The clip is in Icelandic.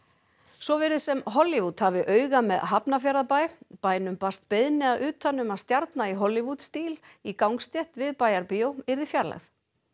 svo virðist sem Hollywood hafi auga með Hafnarfjarðarbæ bænum barst beiðni að utan um að stjarna í Hollywood stíl í gangstétt við Bæjarbíó yrði fjarlægð